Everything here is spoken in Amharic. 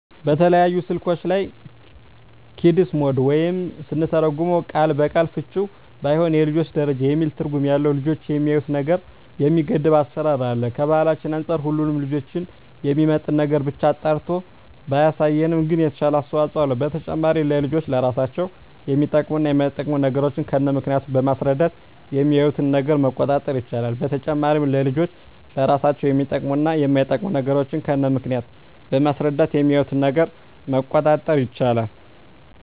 በተለያዩ ስልኮች ላይ "ኪድስ ሞድ" ወይም ስንተረጉመው ቃል በቃል ፍችውም ባይሆን የልጆች ደረጃ የሚል ትርጉም ያለው ልጆች የሚያዪትን ነገር የሚገድብ አሰራር አለ። ከባህላችን አንፃር ሁሉንም ልጆችን የሚመጥን ነገርን ብቻ አጣርቶ ባያሳይም ግን የተሻለ አስተዋጽኦ አለው። በተጨማሪም ለልጆች ለራሳቸው የሚጠቅሙ እና የማይጠቅሙ ነገሮችን ከነምክንያቱ በማስረዳት የሚያዪትን ነገር መቆጣጠር ይቻላል። በተጨማሪም ለልጆች ለራሳቸው የሚጠቅሙ እና የማይጠቅሙ ነገሮችን ከነምክንያቱ በማስረዳት የሚያዪትን ነገር መቆጣጠር ይቻላል።